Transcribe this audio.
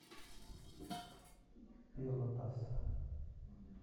пелотас